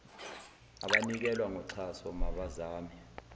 abanikela ngoxhaso mabazame